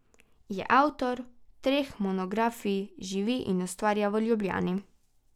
Je avtor treh monografij, živi in ustvarja v Ljubljani.